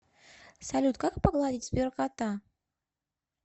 салют как погладить сберкота